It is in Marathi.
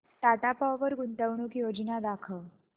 टाटा पॉवर गुंतवणूक योजना दाखव